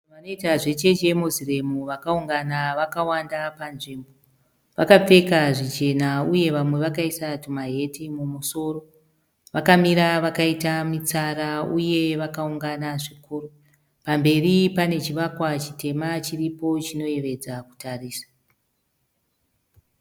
Vanoita zve chechi yeMoziremu vakaungana vakawanda panzvimbo, vakapfeka zvichena uye vamwe vakaisa tumaheti mumusoro vakamira vakaita mitsara uye vakaungana zvikuru, pamberi pane chivakwa chitema chiripo chinoyevedza kutarisa.